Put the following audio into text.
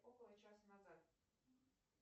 около часа назад